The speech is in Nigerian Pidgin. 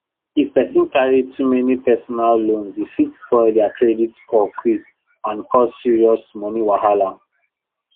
if person carry too many personal loans e fit spoil their credit score quick and cause serious money wahala